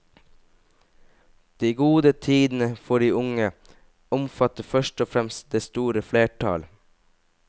De gode tidene for de unge omfatter først og fremst det store flertall.